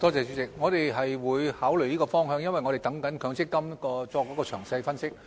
主席，我們是會考慮這個方向的，因為我們正等待積金局作詳細分析。